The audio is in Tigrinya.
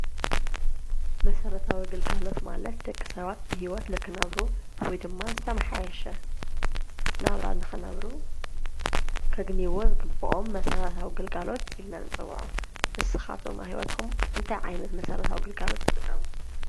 መሰረታዊ ኣግልጋሎት ማለት ደቂ ሰባት ብሕይወት ልኽነብሩ ወይ ድማ ዝተመሓየሸ ናብራ ንኽነብሩ ከግኒዩዎ ዝግብኦም መሠረታዊ ግልጋሎት ኢልና ንፅውዖ፡፡ ንስኻቶም ኣብ ህይወትኹም እንታይ ዓይነት መሰረታዊ ግልጋሎት ትጥቀሙ?